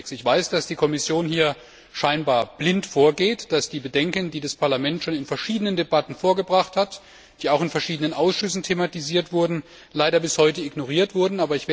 Ich weiß, dass die Kommission hier scheinbar blind vorgeht, dass die Bedenken, die das Parlament schon in verschiedenen Debatten vorgebracht hat, die auch in verschiedenen Ausschüssen thematisiert wurden, leider bis heute ignoriert werden.